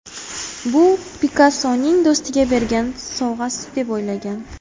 Bu Pikassoning do‘stiga bergan sovg‘asi, deb o‘ylagan.